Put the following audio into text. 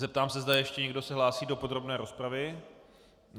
Zeptám se, zda ještě někdo se hlásí do podrobné rozpravy.